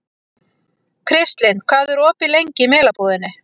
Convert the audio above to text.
Kristlind, hvað er opið lengi í Melabúðinni?